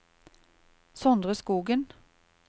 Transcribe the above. Sondre Skogen